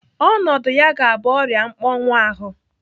Ọnọdụ ya ga-abụ ọrịa mkpọnwuahu.